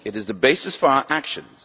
It is the basis for our actions.